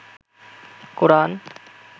কোরআন